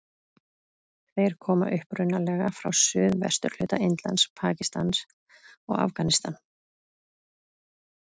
Þeir koma upprunalega frá suðvesturhluta Indlands, Pakistan og Afganistan.